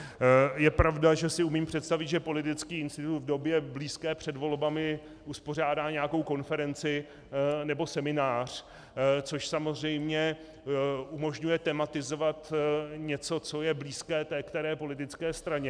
Je pravda, že si umím představit, že politický institut v době blízké před volbami uspořádá nějakou konferenci nebo seminář, což samozřejmě umožňuje tematizovat něco, co je blízké té které politické straně.